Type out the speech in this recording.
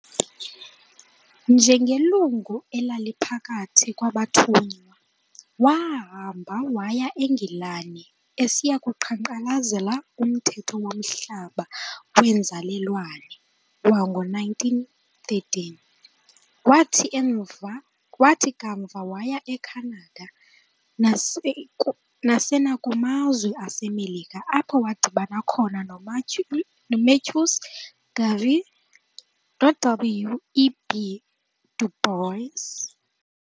Njengelungu elaliphakathi kwabathunywa, waahamba waya e-Ngilani esiyakuqhankqalazela Umthetho womhlaba weenzalelwane, wango-1913, wathi kamva waya eKhanada nasenakumazwe aseMelika apho waadibana khona noMarcus Garvey noW. E. B. Du Bois.